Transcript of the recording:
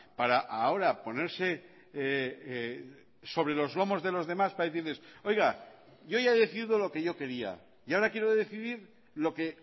para ahora ponerse sobre los lomos de los demás para decirles oiga yo ya he decidido lo que yo quería y ahora quiero decidir lo que